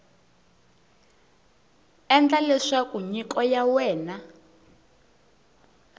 endla leswaku nyiko ya wena